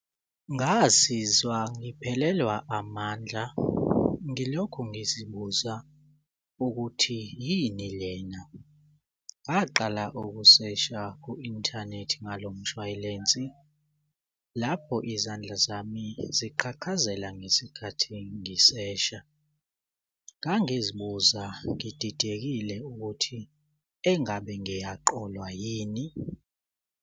Ngazizwa ngiphelelwa amandla ngilokhu ngizibuza ukuthi yini lena. Ngaqala ukusesha ku-inthanethi ngalo mshwalensi lapho izandla zami ziqhaqhazela ngesikhathi ngisesha. Ngangizibuza ngididekile ukuthi engabe ngiyaqolwa yini.